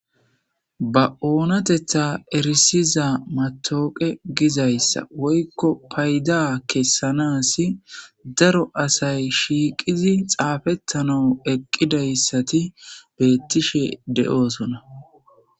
Ba onateththa erissiza matawaqa gizayssa woyikko payida kesanassi daro asay shiqidi xafetanaw eqidayisati betishshe de'osona